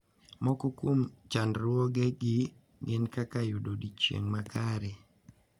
Moko kuom chandruoge gi gin kaka yudo odiechieng` makare.